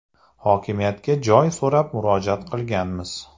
Hokimiyatga joy so‘rab murojaat qilganmiz.